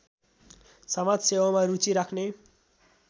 समाजसेवामा रुचि राख्‍ने